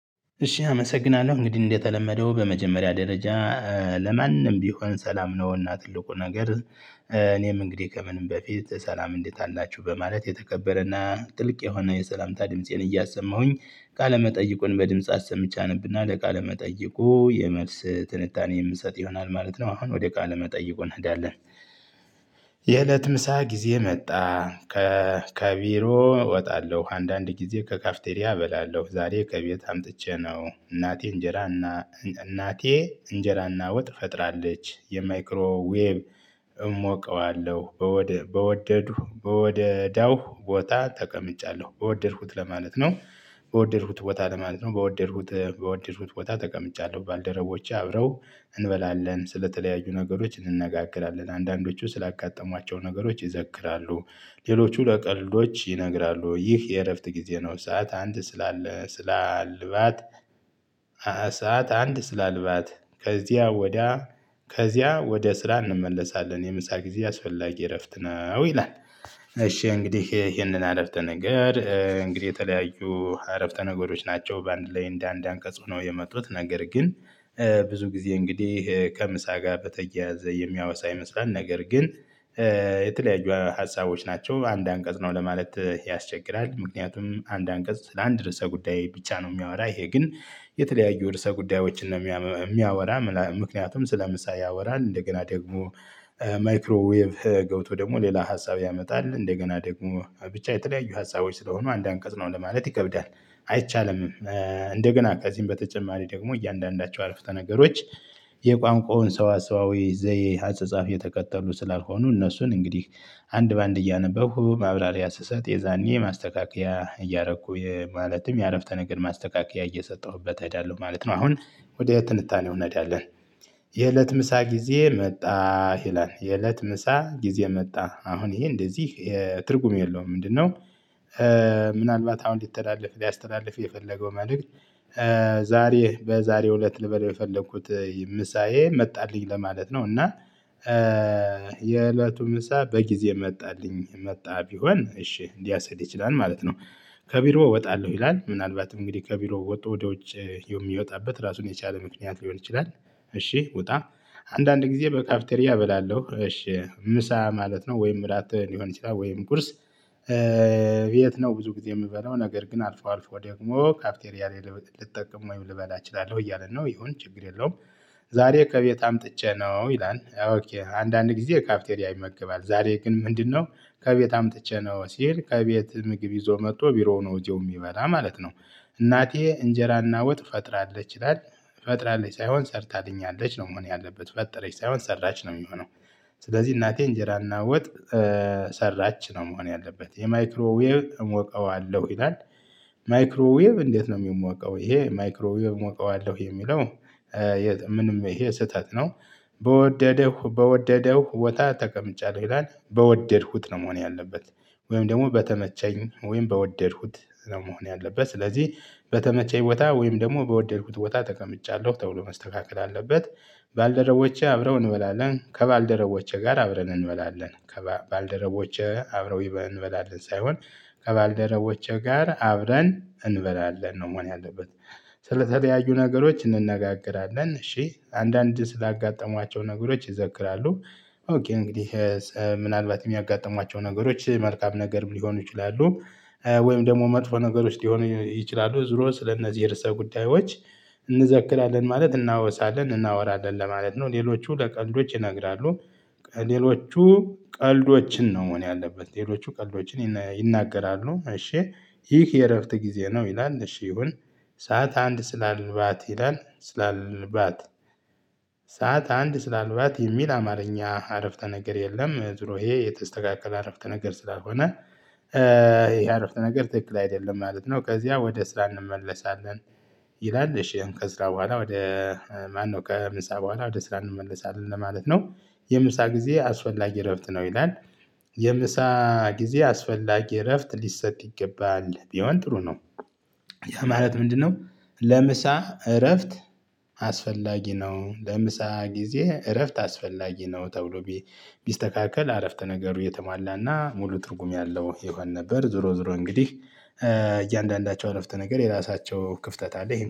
እሺ አመሰግናለሁ እንግዲህ እንደተለመደው በመጀመሪያ ደረጃ ለማንም ቢሆን ሰላም ነውና ትልቁ ነገር እኔም እንግዲህ ከምንም በፊት ሰላም እንዴት አላችሁ በማለት የተከበረና ጥልቅ የሆነ የሰላምታ ድምፄን እያሰማሁኝ ቃለመጠይቁን በድምጽ አሰምቼ አነብና ለቃለመጠይቁ የመልስ ትንታኔ የምሰጥ ይሆናል ማለት ነው። አሁን ወደ ቃለ መጠይቁ እናዳለን። የእለት ምሳ ጊዜ መጣ ከ ከቢሮ እወጣለሁ አንዳንድ ጊዜ ከካፍቴሪያ እበላለሁ ዛሬ ከቤት አምጥቼ ነው እናቴ እንጀራና እናቴ እንጀራና ወጥ ፈጥራለች የማይክሮ ዌቭ እሞቀዋለ በወደድሁ በወደዳው ቦታ ተቀምጫለሁ በወደድኩት ለማለት ነው። በወደድኩት ቦታ ለማለት ነው በወደድኩት በወደድኩት ቦታ ተቀምጫለሁ። ባልደረቦቼ አብረው እንበላለን ስለተለያዩ ነገሮች እንነጋገራለን አንዳንዶቹ ስላጋጠሟቸው ነገሮች ይዘክራሉ ሌሎቹ ለቀልዶች ይነግራሉ ይህ የእረፍት ጊዜ ነው። ሰዓት አንድ ስላለ ስላልባት አሳት አንድ ስላልባት ከዚያ ወዲያ ከዚያ ወደ ስራ እንመለሳለን። የምሳ ጊዜ አስፈላጊ እረፍት ነው። ይላል። እሺ እንግዲህ ይሄንን አረፍተ ነገር እንግዲህ የተለያዩ አረፍተ ነገሮች ናቸው። በአንድ ላይ እንደ አንድ አንቀጽ ሆነው የመጡት ነገር ግን ብዙ ጊዜ እንግዲህ ከምሳ ጋር በተያያዘ የሚያወሳ ይመስላል። ነገር ግን የተለያዩ ሀሳቦች ናቸው። አንድ አንቀጽ ነው ለማለት ይሄ ያስቸግራል። ምክንያቱም አንድ አንቀጽ ስለአንድ ርዕሰ ጉዳይ ብቻ ነው። የሚያወራ ይሄ ግን የተለያዩ ርዕሰ ጉዳዮችን ነው የሚያወራ። ምክንያቱም ስለምሳ ያወራል እንደገና ደግሞ ማይክሮዌቭ ገብቶ ደግሞ ሌላ ሀሳብ ያመጣል። እንደገና ደግሞ ብቻ የተለያዩ ሀሳቦች ስለሆኑ አንድ አንቀጽ ነው ለማለት ይከብዳል። አይቻልምም። እንደገና ከዚህም በተጨማሪ ደግሞ እያንዳንዳቸው አረፍተነገሮች የቋንቋውን ሰዋ ሰዋዊ ዘዬ አጻጻፍ የተከተሉ ስላልሆኑ እነሱን እንግዲህ አንድ በአንድ እያነበብኩ ማብራሪያ ስሰጥ የዛኔ ማስተካከያ እያረኩ ማለትም የአረፍተ ነገር ማስተካከያ እየሰጠሁበት አሄዳለሁ ማለት ነው። አሁን ወደ ትንታኔው እንሄዳለን። የእለት ምሳ ጊዜ መጣ ይላል የእለት ምሳ ጊዜ መጣ አሁን ይሄ እንደዚህ ትርጉም የለውም ምንድነው? ምናልባት አሁን ሊተላለፍ ሊያስተላልፍ የፈለገው መልእክት ዛሬ በዛሬው እለት ልበል በፈለኩት ምሳዬ መጣልኝ ለማለት ነው። እና የእለቱ ምሳ በጊዜ መጣልኝ መጣ ቢሆን እሺ ሊያስኬድ ይችላል ማለት ነው። ከቢሮ እወጣለሁ ይላል ምናልባት እንግዲህ ከቢሮ ወጥቶ ወደ ውጭ የሚወጣበት ራሱን የቻለ ምክንያት ሊሆን ይችላል። እሺ ውጣ አንዳንድ ጊዜ በካፍቴሪያ እበላለሁ እሺ ምሳ ማለት ነው ወይም እራት ሊሆን ይችላል ወይም ቁርስ። የት ነው ብዙ ጊዜ የምበለው ነገር ግን አልፎ አልፎ ደግሞ ካፍቴሪያ ላይ ልጠቀም ወይም ልበላ እችላለሁ እያለን ነው ይሁን ችግር የለውም። ዛሬ ከቤት አምጥቼ ነው ይላል። አንዳንድ ጊዜ ካፍቴሪ ይመገባል ዛሬ ግን ምንድነው? ከቤት አምጥቼ ነው ሲል ከቤት ምግብ ይዞ መጥቶ ቢሮው ነው እዚያው የሚበላ ማለት ነው። እናቴ እንጀራና ወጥ ፈጥራለች ይላል ፈጥራለች ሳይሆን ሰርታልኛለች ነው መሆን ያለበት ፈጠረች ሳይሆን ሰራች ነው የሚሆነው። ስለዚህ እናቴ እንጀራና ወጥ ሰራች ነው መሆን ያለበት የማይክሮዌቭ እሞቀዋለሁ ይላል። ማይክሮዌቭ እንዴት? ነው የሚሞቀው ይሄ ማይክሮዌቭ ሞቀዋለሁ የሚለው ምንም ይሄ ስህተት ነው። በወደደው በወደደው ቦታ ተቀምጫለሁ ይላል በወደድኩት ነው መሆን ያለበት። ወይም ደግሞ በተመቸኝ ወይም በወደድኩት ነው መሆን ያለበት። ስለዚህ በተመቸኝ ቦታ ወይም ደግሞ በወደድኩት ቦታ ተቀምጫለሁ ተብሎ መስተካከል አለበት። ባልደረቦቼ አብረው እንበላለን ከባልደረቦቼ ጋር አብረን እንበላለን ከባልደረቦቼ አብረው እንበላለን ሳይሆን ከባልደረቦቼ ጋር አብረን እንበላለን ነው መሆን ያለበት። ስለተለያዩ ነገሮች እንነጋገራለን እሺ አንዳንድ ስላጋጠሟቸው ነገሮች ይዘክራሉ። ኦኬ እንግዲህ ምናልባት የሚያጋጥሟቸው ነገሮች መልካም ነገርም ሊሆኑ ይችላሉ። ወይም ደግሞ መጥፎ ነገሮች ሊሆኑ ይችላሉ ዙሮ ስለእነዚህ እርሰ ጉዳዮች እንዘክላለን ማለት እናወሳለን እናወራለን ለማለት ነው። ሌሎቹ ለቀልዶች ይነግራሉ። ሌሎቹ ቀልዶችን ነው መሆን ያለበት ሌሎቹ ቀልዶችን ይናገራሉ እሺ ይህ የእረፍት ጊዜ ነው። ይላል እሺ ይሁን ሰዓት አንድ ስላልባት ይላል ስላልባት። ሰዓት አንድ ስላልዋት የሚል አማርኛ አረፍተ ነገር የለም። ዙሮ ይሄ የተስተካከለ አረፍተ ነገር ስላልሆነ። ይሄ አረፍተ ነገር ትክክል አይደለም ማለት ነው። ከዚያ ወደ ስራ እንመለሳለን። ይላል እሺ ከስራ በኋላ ወደ ማነው? ከምሳ በኋላ ወደ ስራ እንመለሳለን ለማለት ነው። የምሳ ጊዜ አስፈላጊ እረፍት ነው ይላል። የምሳ ጊዜ አስፈላጊ እረፍት ሊሰጥ ይገባል ቢሆን ጥሩ ነው። ያ ማለት ምንድነው? ለምሳ እረፍት አስፈላጊ ነው ለምሳ ጊዜ እረፍት አስፈላጊ ነው ተብሎ ቢስተካከል አረፍተ ነገሩ የተማላና ሙሉ ትርጉም ያለው ይሆን ነበር። ዝሮ ዝሮ እንግዲህ እያንዳንዳቸው አነፍተ ነገር የራሳቸው ክፍተት አለ